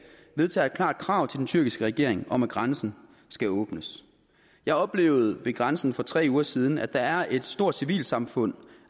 vedtager et klart krav til den tyrkiske regering om at grænsen skal åbnes jeg oplevede ved grænsen for tre uger siden at der er et stort civilsamfund